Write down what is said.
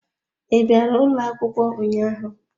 I bịara ụlọ akwụkwọ ụnyaahụ?